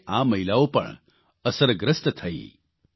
તે રીતે આ મહિલાઓ પણ અસરગ્રસ્ત થઇ